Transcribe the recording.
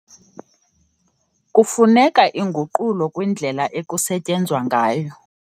Kufuneka inguqulo kwindlela ekusetyenzwa ngayo.